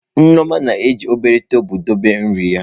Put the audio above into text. Nneoma na-eji obere tabụl dobe nri ya.